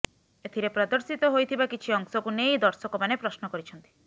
ଏଥିରେ ପ୍ରଦର୍ଶିତ ହୋଇଥିବା କିଛି ଅଂଶକୁ ନେଇ ଦର୍ଶକମାନେ ପ୍ରଶ୍ନ କରିଛନ୍ତି